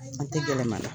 An tɛ gɛlɛma